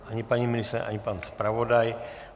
Ani paní ministryně, ani pan zpravodaj.